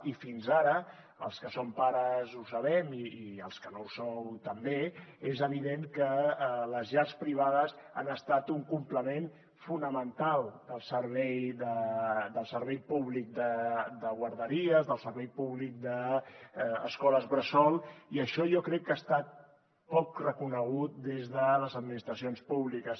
i fins ara els que som pares ho sabem i els que no ho sou també és evident que les llars privades han estat un complement fonamental del servei públic de guarderies del servei públic d’escoles bressol i això jo crec que ha estat poc reconegut des de les administracions públiques